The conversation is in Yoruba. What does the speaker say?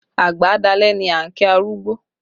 Àgbà á dalẹ́ ni a ń kí arúgbó